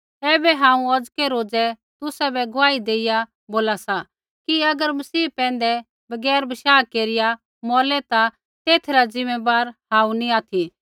ऐबै हांऊँ औज़कै रोज़ै तुसाबै गुआही देइया बोला सा कि अगर मसीह पैंधै बगैर बशाह केरिया मौरलै ता तेथै रा ज़िम्मैबार हांऊँ नी ऑथि